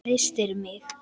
Hristir mig.